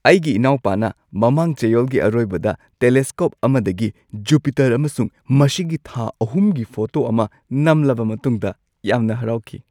ꯑꯩꯒꯤ ꯢꯅꯥꯎꯄꯥꯅ ꯃꯃꯥꯡ ꯆꯌꯣꯜꯒꯤ ꯑꯔꯣꯏꯕꯗ ꯇꯦꯂꯦꯁꯀꯣꯞ ꯑꯃꯗꯒꯤ ꯖꯨꯄꯤꯇꯔ ꯑꯃꯁꯨꯡ ꯃꯁꯤꯒꯤ ꯊꯥ ꯑꯍꯨꯝꯒꯤ ꯐꯣꯇꯣ ꯑꯃ ꯅꯝꯂꯕ ꯃꯇꯨꯡꯗ ꯌꯥꯝꯅ ꯍꯔꯥꯎꯈꯤ ꯫